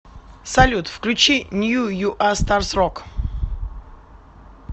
салют включи нью юа старс рок